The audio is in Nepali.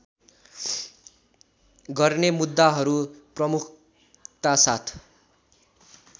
गर्ने मुद्दाहरू प्रमुखतासाथ